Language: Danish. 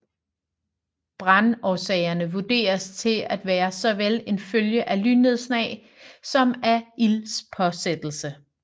Brandårsagerne vurderes til at være såvel en følge af lynnedslag som af ildspåsættelser